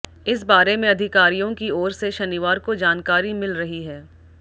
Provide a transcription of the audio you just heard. इस बारे में अधिकारियों की ओर से शनिवार को जानकारी मिल रही है